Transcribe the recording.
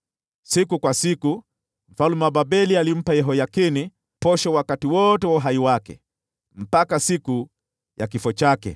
Siku kwa siku mfalme wa Babeli alimpa Yehoyakini posho siku zote za maisha yake, hadi siku ya kifo chake.